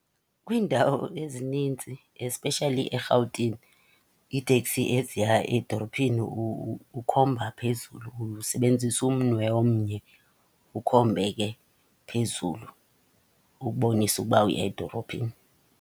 Kwiindawo ezinintsi, especially eRhawutini, iiteksi eziya edorophini ukhomba phezulu, usebenzisa umnwe omnye ukhombe ke phezulu ukubonisa ukuba uya edorophini.